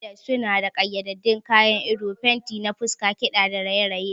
Masqueraders suna da ƙayyadaddun kayan ado, fenti na fuska, kiɗa da raye-raye.